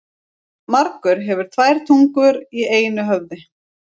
Margur hefur tvær tungur í einu höfði.